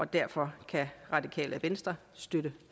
derfor kan radikale venstre støtte